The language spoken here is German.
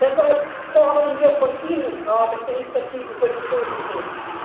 Deshalb fordern wir von Ihnen gerade Initiativen für den Schuldenschnitt.